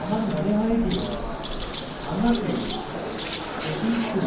আমার মনে হয় যে আমাকে এটি একটু